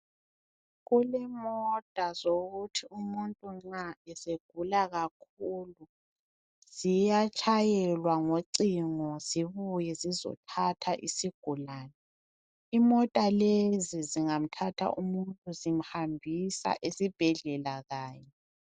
Kulemota zokuthi umuntu nxa esegula kakhulu ziyatshayelwa ngocingo zibuye zizothatha isigulane imota lezi zingamthatha umuntu zimhambisa esibhedlela kanye.